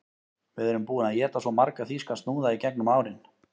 Við erum búin að éta svo marga þýska snúða í gegnum árin